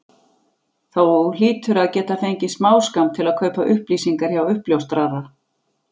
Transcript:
Þú hlýtur að geta fengið smáskammt til að kaupa upplýsingar hjá uppljóstrara?